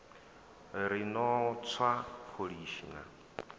ri no tswa pholishi na